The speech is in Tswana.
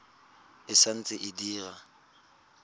e sa ntse e dira